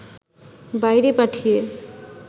বাইরে পাঠিয়ে